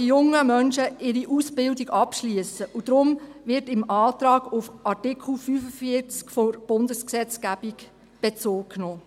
So können die jungen Menschen ihre Ausbildung abschliessen, und deshalb wird im Antrag auf Artikel 45 der Bundesgesetzgebung Bezug genommen.